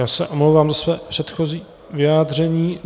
Já se omlouvám za své předchozí vyjádření.